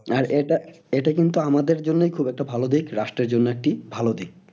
আর এটা, এটা কিন্তু আমাদের জন্যই খুব একটা ভালো দিক রাষ্ট্রের জন্য একটি ভালো দিক।